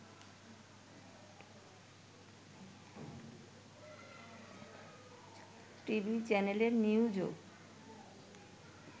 TV চ্যানেলের নিউজও